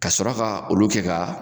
Ka sɔrɔ ka olu kɛ ka